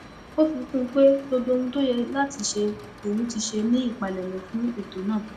ó fi kún un pé gbogbo ohun tó yẹ láti ṣe lòun ti ṣe ní ìpalẹmọ fún ètò náà